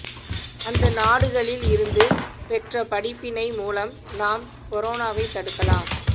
அந்த நாடுகளில் இருந்து பெற்ற படிப்பினை மூலம் நாம் கொரோனாவைத் தடுக்கலாம்